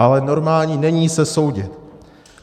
Ale normální není se soudit.